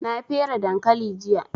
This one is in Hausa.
Na fere dankali jiya